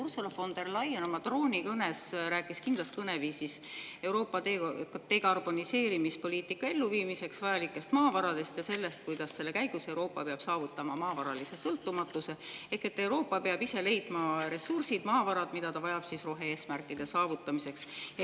Ursula von der Leyen rääkis oma troonikõnes kindlas kõneviisis Euroopa dekarboniseerimispoliitika elluviimiseks vajalikest maavaradest ja sellest, kuidas selle käigus peab Euroopa saavutama maavaralise sõltumatuse: ehk Euroopa peab ise leidma ressursid, maavarad, mida ta vajab rohe-eesmärkide saavutamiseks.